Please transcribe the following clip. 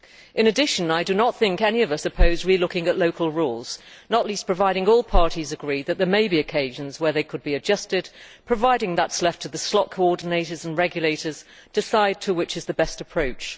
In addition, I do not think any of us oppose reviewing local rules, not least if all parties agree that there may be occasions where they could be adjusted, provided that it is left to the slot coordinators and regulators to decide which is the best approach.